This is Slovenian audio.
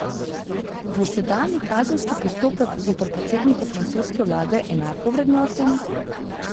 Bo sedanji kazenski postopek zoper predsednika francoske vlade enako vrednoten?